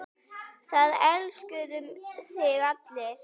Það elskuðu þig allir.